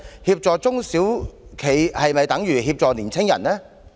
協助中小企是否等於協助年輕人？